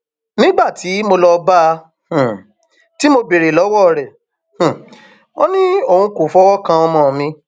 nígbà tí mo lọọ bá a um tí mo béèrè lọwọ rẹ um ò ní òun kò fọwọ kan ọmọ mi